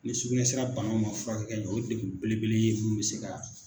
Ni sugunɛ sira banaw ma furakɛ ka ɲɛ o ye degun belebele ye minnu bɛ se ka